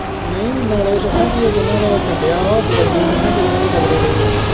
ਨਹੀਂ ਨਾਲੇ ਦੱਸਾਂ ਕੀ ਹੈ ਜਿਹਨਾਂ ਦਾ ਇਹ ਚੰਡਿਆ ਵਾ ਉਹ ਗਵਈਏ ਦੇਖ ਹੈ ਕਿੱਡੇ ਕਿੱਡੇ ਤਗੜੇ ਰਹੇ ਹੈ।